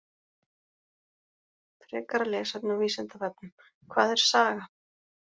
Frekara lesefni á Vísindavefnum: Hvað er saga?